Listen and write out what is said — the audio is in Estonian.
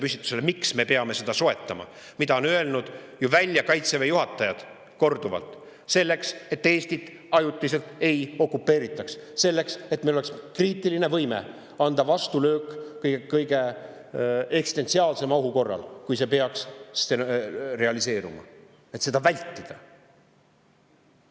Kaitseväe juhatajad on ju korduvalt välja öelnud, et selleks, et Eestit ajutiselt ei okupeeritaks, selleks, et meil oleks kriitiline võime anda vastulöök kõige eksistentsiaalsema ohu korral, kui see peaks realiseeruma, et seda vältida.